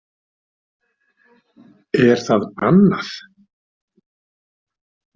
Er það bannað?